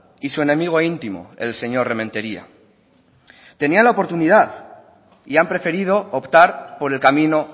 y su enemigo intimo el señor rementeria tenían la oportunidad y han preferido optar por el camino